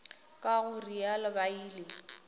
ka go realo ba ile